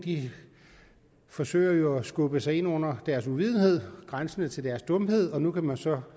forsøger jo at skubbe sig ind under deres uvidenhed grænsende til dumhed og nu kan man så